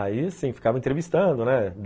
Aí assim, ficava entrevistando, né?